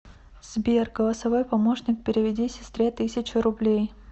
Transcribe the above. сбер голосовой помощник переведи сестре тысячу рублей